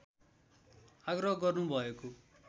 आग्रह गर्नु भएको